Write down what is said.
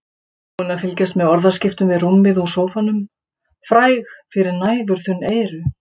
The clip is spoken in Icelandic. Búin að fylgjast með orðaskiptum við rúmið úr sófanum, fræg fyrir næfurþunn eyru.